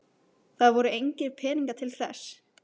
Það voru engir peningar til þess.